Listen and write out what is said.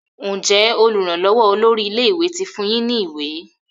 Njé olùrànlówó olórí ilé ìwé tí fún yín ní ìwé?